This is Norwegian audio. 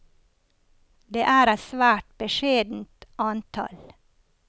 Det er et svært beskjedent antall.